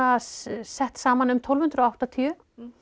sett saman um tólf hundruð og áttatíu